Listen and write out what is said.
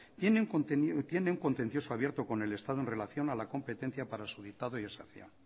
tiene un contencioso abierto con el estado en relación a la competencia para su dictado y aserción